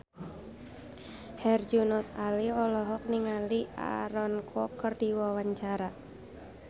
Herjunot Ali olohok ningali Aaron Kwok keur diwawancara